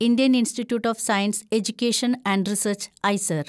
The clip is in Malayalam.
Indian institute of science education and research (IISER)